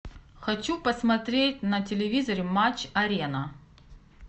хочу посмотреть на телевизоре матч арена